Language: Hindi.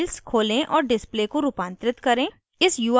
#jmol में files खोलें और display को रूपांतरित करें